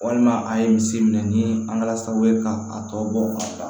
Walima a ye misi minɛ ni an kɛra sababu ye k'a tɔ bɔ k'a ban